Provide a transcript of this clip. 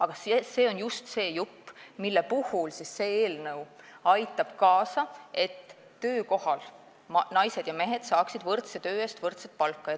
Aga see on see jupp, kus see eelnõu aitab kaasa, et naised ja mehed saaksid võrdse töö eest töökohal võrdset palka.